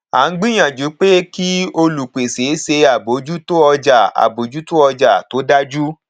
à ń gbìyànjú pé kí olùpèsè ṣe àbójútó ọjà àbójútó ọjà tó dájú